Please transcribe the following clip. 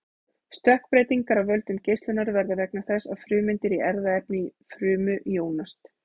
stökkbreytingar af völdum geislunar verða vegna þess að frumeindir í erfðaefni frumu jónast